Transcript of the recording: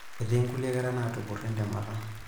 Etii nkulie kera naatupurro entemata.